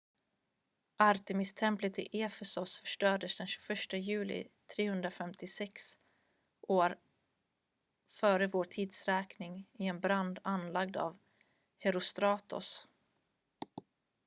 artemistemplet i efesos förstördes den 21 juli 356 f.v.t. i en brand anlagd av herostratos